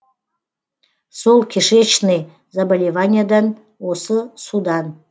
сол кишечный заболеваниадан осы судан